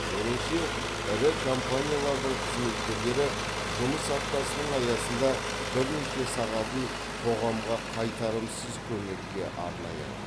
меніңше ірі компаниялардың қызметкерлері жұмыс аптасының аясында бірнеше сағатын қоғамға қайтарымсыз көмекке арнай алады